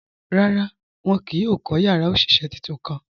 Rárá, wọn kìí yóò kọ́ yàrá oṣiṣẹ́ tuntun kàn.